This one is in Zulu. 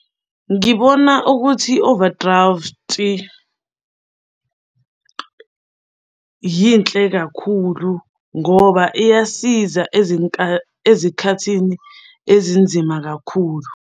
Ngibona ukuthi i-overdraft yinhle kakhulu ngoba iyasiza ezikhathini ezinzima kakhulu.